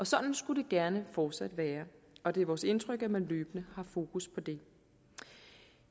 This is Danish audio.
sådan skulle det gerne fortsat være og det er vores indtryk at man løbende har fokus på det